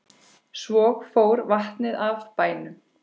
Svo fór vatnið af bænum.